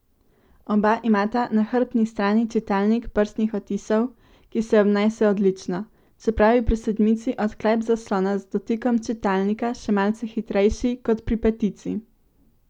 Oba imata na hrbtni strani čitalnik prstnih odtisov, ki se obnese odlično, čeprav je pri sedmici odklep zaslona z dotikom čitalnika še malce hitrejši kot pri petici.